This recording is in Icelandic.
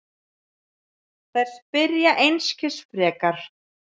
Þær spyrja einskis frekar.